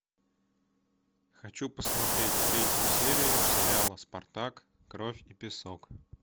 хочу посмотреть третью серию сериала спартак кровь и песок